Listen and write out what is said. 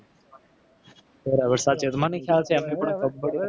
બરાબર સાચે મને એમ થાય કે આપડી પૂરી કબ્બડી